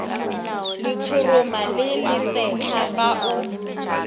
letshoroma le lesetlha fa o